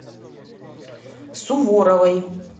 суворовой